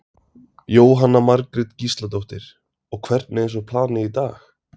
Jóhanna Margrét Gísladóttir: Og hvernig er svo planið í dag?